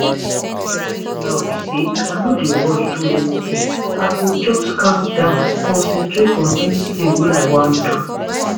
wetin dey help now be say i no dey rush do anything i go just calm down concentrate on anytin wey i wan do